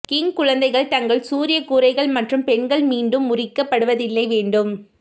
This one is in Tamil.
கிங் குழந்தைகள் தங்கள் சூரிய கூரைகள் மற்றும் பெண்கள் மீண்டும் உரிக்கப்படுவதில்லை வேண்டும்